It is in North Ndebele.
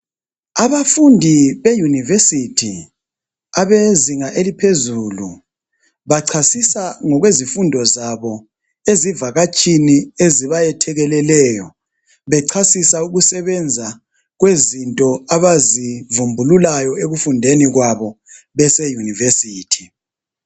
Abafundi beUniversity abezinga eliphezulu bachasisa ngezifundo zabo ezivakatshini ezibayethekeleleyo. Bechasisa ukusebenza kwezinto abazivumbululayo ekufundeni kwabo bese university.